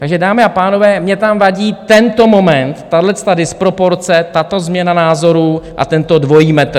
Takže dámy a pánové, mně tam vadí tento moment, tahleta disproporce, tato změna názorů a tento dvojí metr.